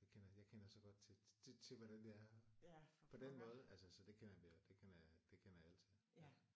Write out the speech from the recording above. det kender jeg kender så godt til til til hvordan det er på den måde. Altså så det kender vi det kender jeg det kender jeg alt til